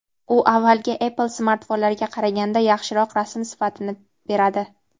u avvalgi Apple smartfonlariga qaraganda yaxshiroq rasm sifatini beradi.